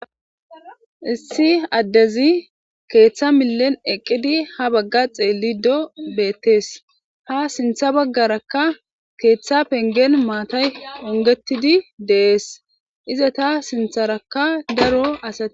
Issi addezi keetha millen eqqidi ha bagga xeelliddo beettes. Ha sintha baggarakka keetha penggen maatay onggetidi de7ees izata sintharakka daro asati